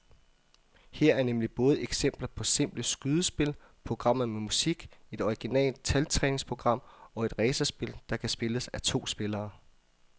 Her er nemlig både eksempler på simple skydespil, programmer med musik, et originalt taltræningsprogram og et racerspil, der kan spilles af to spillere.